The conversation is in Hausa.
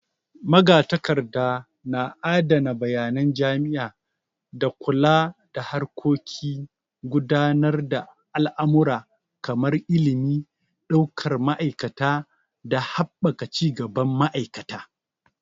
Magatakarda na adana bayanan jami'a, da kula da harkokin gudanar da al'amura kamar ilimi, daukar ma'aikata da haɓaka cigaban ma'aikata.